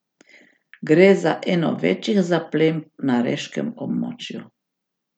Gre za eno večjih zaplemb na reškem območju.